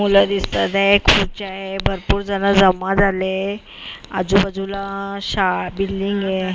मुलं दिसतात आहे खुर्च्या आहे भरपूर जण जमा झाले आजूबाजूला शा बिल्डींग आहे .